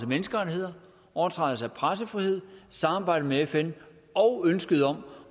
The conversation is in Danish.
menneskerettigheder overtrædelse af pressefrihed samarbejde med fn og ønsket om